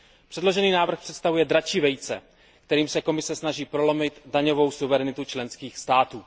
Předložený návrh představuje dračí vejce, kterým se Komise snaží prolomit daňovou suverenitu členských států.